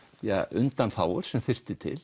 undanþágur sem þyrfti til